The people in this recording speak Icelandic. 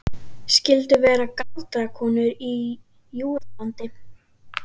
Skyldu vera til galdrakonur í Júðalandi?